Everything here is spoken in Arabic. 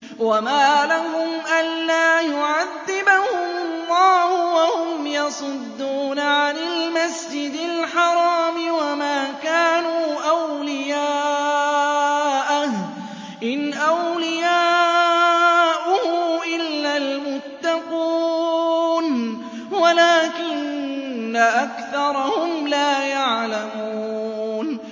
وَمَا لَهُمْ أَلَّا يُعَذِّبَهُمُ اللَّهُ وَهُمْ يَصُدُّونَ عَنِ الْمَسْجِدِ الْحَرَامِ وَمَا كَانُوا أَوْلِيَاءَهُ ۚ إِنْ أَوْلِيَاؤُهُ إِلَّا الْمُتَّقُونَ وَلَٰكِنَّ أَكْثَرَهُمْ لَا يَعْلَمُونَ